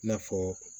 I n'a fɔ